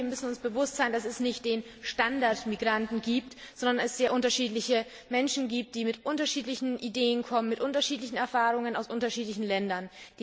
Wir müssen uns bewusst sein, dass es nicht den Standardmigranten gibt, sondern sehr unterschiedliche Menschen, die mit unterschiedlichen Ideen kommen, mit unterschiedlichen Erfahrungen aus unterschiedlichen Ländern.